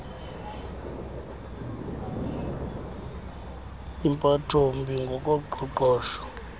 impatho mbi ngokoqoqosho